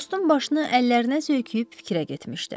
Dostun başını əllərinə söyküyüb fikrə getmişdi.